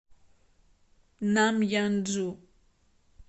намъянджу